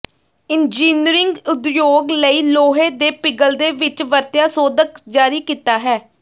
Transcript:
engineering ਉਦਯੋਗ ਲਈ ਲੋਹੇ ਦੇ ਪਿਘਲਦੇ ਵਿੱਚ ਵਰਤਿਆ ਸੋਧਕ ਜਾਰੀ ਕੀਤਾ ਹੈ